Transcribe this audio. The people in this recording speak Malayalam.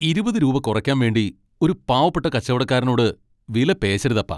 ഇരുപത് രൂപ കുറയ്ക്കാൻ വേണ്ടി ഒരു പാവപ്പെട്ട കച്ചവടക്കാരനോട് വിലപേശരുതപ്പാ.